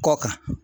Kɔ kan